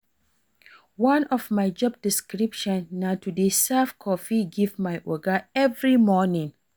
One of my job description na to dey serve coffee give my Oga every morning